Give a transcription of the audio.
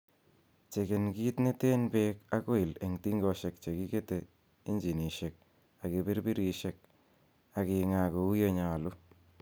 Cheken kit neten beek ak oil en tingosiek chekikete injinisiek ak kipirpirisiek ak ingaa kou ye nyolu.